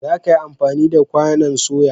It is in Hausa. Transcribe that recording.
Za ka yi amfani da kwanon soya?